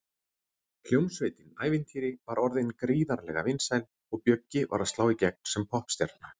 Hljómsveitin Ævintýri var orðin gríðarlega vinsæl og Bjöggi var að slá í gegn sem poppstjarna.